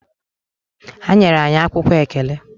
Ha nyere anyị akwụkwọ ekele.